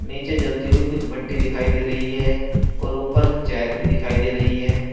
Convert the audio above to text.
नीचे जलती हुई कुछ भट्टी दिखाई दे रही है और ऊपर चैन भी दिखाई दे रही है।